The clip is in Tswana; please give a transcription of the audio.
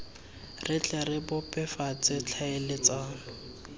re tle re bebofatse tlhaeletsano